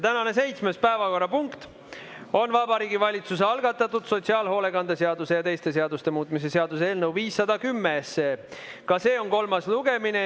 Tänane seitsmes päevakorrapunkt on Vabariigi Valitsuse algatatud sotsiaalhoolekande seaduse ja teiste seaduste muutmise seaduse eelnõu 510 kolmas lugemine.